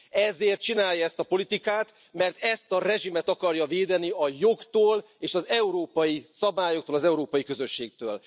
Ezért csinálja ezt a politikát, mert ezt a rezsimet akarja védeni a jogtól és az európai szabályoktól, az európai közösségtől.